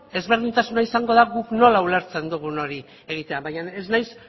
ezberdintasuna izango da guk nola ulertzen dugun hori egitea baina ez naiz